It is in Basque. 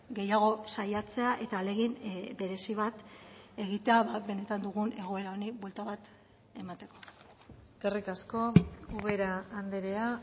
gehiago saiatzea eta ahalegin berezi bat egitea benetan dugun egoera honi buelta bat emateko eskerrik asko ubera andrea